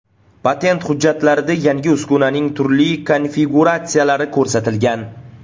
Patent hujjatlarida yangi uskunaning turli konfiguratsiyalari ko‘rsatilgan.